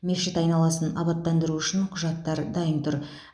мешіт айналасын абаттандыру үшін құжаттар дайын тұр